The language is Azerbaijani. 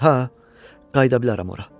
Hə, qayıda bilərəm ora.